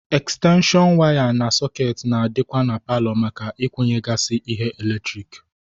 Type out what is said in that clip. Ekstenshon waya na sọkeetị na-adịkwa na paalọ maka ịkwunyegasị ihe eletrik.